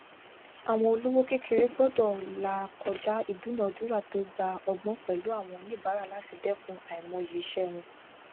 àwọn olówò kékeré gbọdọ là kọjá ìdúnadúrà tó gba ọgbón pẹlú àwọn onibaara láti dẹkùn aimoyi iṣẹ wọn